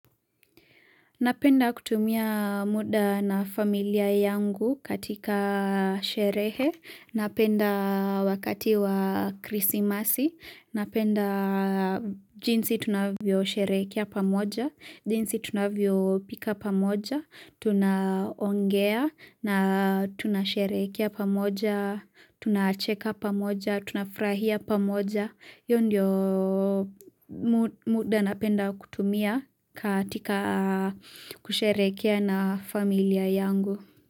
Napenda kutumia muda na familia yangu katika sherehe, napenda wakati wa krisi masi, napenda jinsi tunavyo sherekea pamoja, jinsi tunavyo pika pamoja, Tunaongea na tunasherekea pamoja Tunacheka pamoja, tunafrahia pamoja Yondio muda napenda kutumia katika kusherekea na familia yangu.